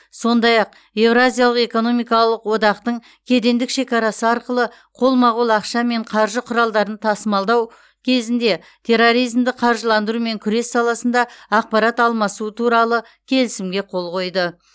сондай ақ еуразиялық экономикалық одақтың кедендік шекарасы арқылы қолма қол ақша мен қаржы құралдарын тасылдау кезінде терроризмді қаржыландырумен күрес саласында ақпарат алмасу туралы келісімге қол қойды